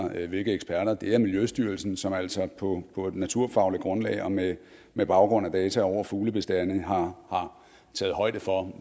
hvilke eksperter det er miljøstyrelsen som altså på på et naturfagligt grundlag og med med baggrund i data over fuglebestande har taget højde for